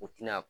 U tina